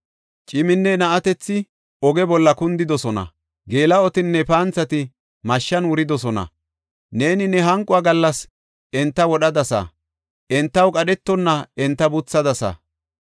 Ciminne na7atethi oge bolla kundidosona; geela7otinne panthati mashshan wuridosona. Neeni ne hanquwa gallas enta wodhadasa; entaw qadhetonna enta buthadasa.